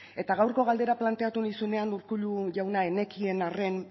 eta gaurko galdera planteatu nizunean urkullu jauna ez nekien arren